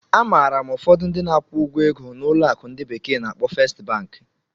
Amaara m ụfọdụ ndị na-akwụ ụgwọ ego na ụlọ akụ ndi bekee na-akpo Fest Banki.